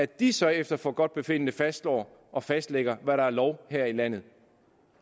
de så efter forgodtbefindende fastslår og fastlægger hvad der er lov her i landet